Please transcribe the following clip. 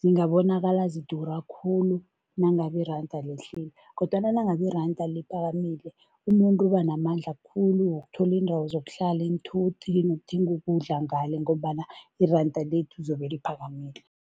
zingabonakala zidura khulu nangabe iranda lehlile kodwana nangabe iranda liphakamile, umuntu ubanamandla khulu wokuthola iindawo zokuhlala, iinthuthi nokuthenga ukudla ngale ngombana iranda lethu zobe liphakamile.